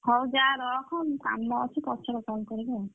ହଉ ଯା ରଖ। ମୁଁ କାମ ଅଛି ପଛରେ call କରିବି ଆଉ।